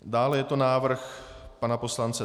Dále je to návrh pana poslance